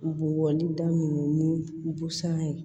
U b'o wali da minnu busan ye